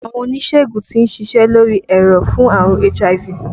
Àwọn oníṣègùn tí ń ṣiṣẹ́ lórí ẹ̀rọ̀ fún àrùn HIV